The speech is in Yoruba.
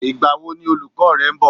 Ìgbà wo ni olùkọ́ rẹ ń bọ̀?